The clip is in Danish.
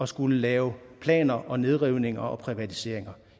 skulle lave planer og nedrivninger og privatiseringer